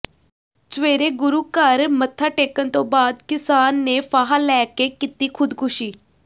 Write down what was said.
ਸਵੇਰੇ ਗੁਰੂ ਘਰ ਮੱਥਾ ਟੇਕਣ ਤੋਂ ਬਾਅਦ ਕਿਸਾਨ ਨੇ ਫਾਹਾ ਲੈ ਕੇ ਕੀਤੀ ਖੁਦਕੁਸ਼ੀ